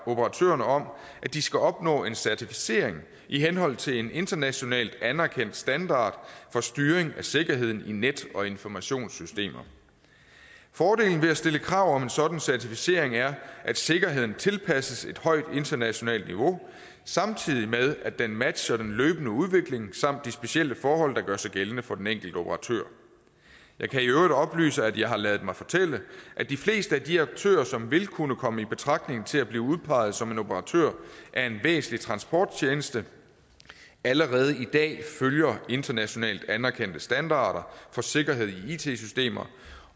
operatørerne om at de skal opnå en certificering i henhold til en internationalt anerkendt standard for styring af sikkerheden i net og informationssystemer fordelen ved at stille krav om en sådan certificering er at sikkerheden tilpasses et højt internationalt niveau samtidig med at den matcher den løbende udvikling samt de specielle forhold der gør sig gældende for den enkelte operatør jeg kan i øvrigt oplyse at jeg har ladet mig fortælle at de fleste af de aktører som vil kunne komme i betragtning til at blive udpeget som operatør af en væsentlig transporttjeneste allerede i dag følger internationalt anerkendte standarder for sikkerhed i it systemer